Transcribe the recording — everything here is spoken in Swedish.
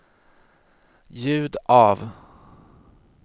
ljud av